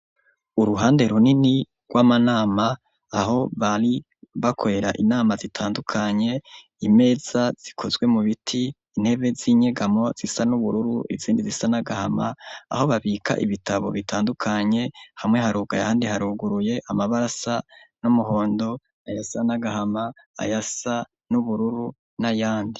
Uruhande runini rwa manama aho bari bakorera inama zitandukanye, imeza zikozwe mu biti intebe z'inyegamo zisa n'ubururu izindi zisa nagahama, aho babika ibitabo bitandukanye hamwe harugaye handi haruguruye, amabarasa n'umuhondo ayasa nagahama, ayasa n'ubururu n'ayandi.